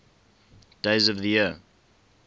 days of the year